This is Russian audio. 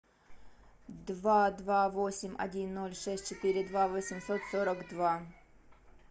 два два восемь один ноль шесть четыре два восемьсот сорок два